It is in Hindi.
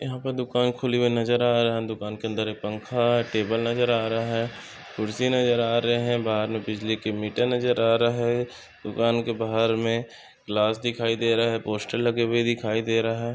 यहाँ पे दुकान खुली हुई नजर आ- रहा है दुकान के अंदर एक पंखा टेबल नजर आ रहा है कुर्सी नजर आ रहे है बाहर बिजली की मीटर नजर आ रहे है दुकान के बाहर मे ग्लास दिखाई दे रहा है पोस्टर लगे हुए दिखाई दे रहा है।